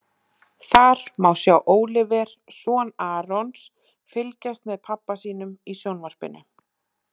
Þar má sjá Óliver, son Arons, fylgjast með pabba sínum í sjónvarpinu.